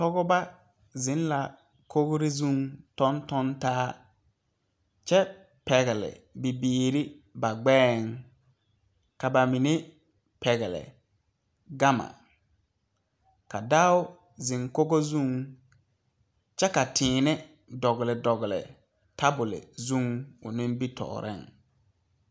Pɔgeba zeŋ la kogri zuŋ tɔntɔntaa kyɛ pegle bibiiri ba gbeɛ ka ba mine pegle gama ka dɔo zeŋ Kogi zuŋ kyɛ ka tēēne dogle dogle tabol zuŋ o nimitɔɔre.